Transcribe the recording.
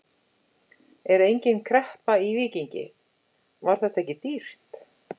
Er engin kreppa í Víkingi, var þetta ekki dýrt?